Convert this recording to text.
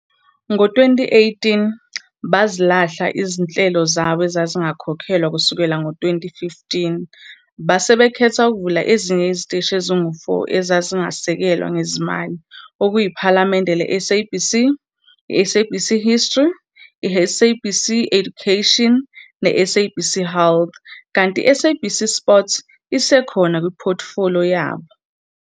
Ngo-2018, bazilahla izinhlelo zabo ezazingakhokhelwa kusukela ngo-2015 base bekhetha ukuvula ezinye iziteshi ezingu-4 ezazingasekelwa ngezimali okuyiPhalamende leSABC, iSABC History, iSABC Education neSABC Health kanti iSABC Sport isekhona kuphothifoliyo yabo.